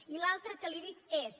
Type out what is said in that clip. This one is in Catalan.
i l’altra que li dic és